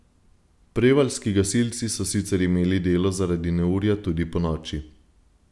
Prevaljski gasilci so sicer imeli delo zaradi neurja tudi ponoči.